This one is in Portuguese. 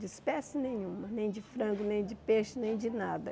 De espécie nenhuma, nem de frango, nem de peixe, nem de nada.